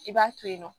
I b'a to yen nɔ